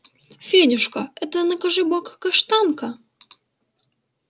федюшка это накажи бог каштанка